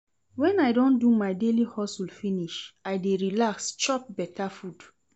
Wen I don do my daily hustle finish, I dey relax chop beta food.